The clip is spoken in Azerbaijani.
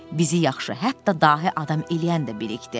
Bizi yaxşı, hətta dahi adam eləyən də bilikdir.